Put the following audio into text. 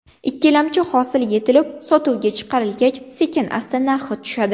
Ikkilamchi hosil yetilib, sotuvga chiqarilgach, sekin-asta narxi tushadi.